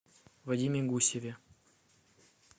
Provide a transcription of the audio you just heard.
вадиме гусеве